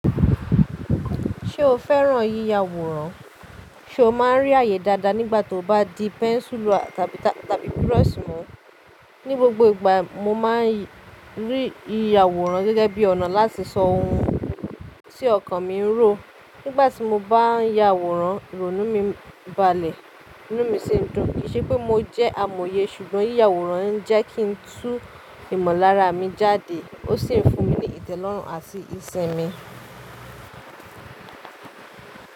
Ṣé o fẹ́ràn yíya àwòrán? Ṣo máa ń rí àyè dáadáa nígbàtí o bá di pẹ́ńsùlù tàbí, tàbí burọ́ṣì mú? Ní gbogbo ìgbà mo máa ń rí yíya àwòrán gẹ́gẹ́ bí ọ̀nà láti sọ ohun tí ọkàn mi ń rò. Nígbàtí mo bá ń ya àwòrán, ìrònú mi ń balẹ̀, inú mi sì ń dùn. Kì í ṣe pé mo jẹ́ amòye ṣùgbọ́n yíya àwòrán ń jẹ́ kí n tú ìmọ̀lára mi jáde ó sì ń fún mi ní ìtẹ́lọ́rùn àti ìṣẹ́ mi.